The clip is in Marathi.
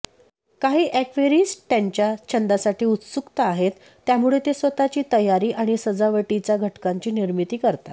काही एक्वैरिस्ट त्यांच्या छंद्यासाठी उत्सुक आहेत त्यामुळे ते स्वतःची तयारी आणि सजावटीच्या घटकांची निर्मिती करतात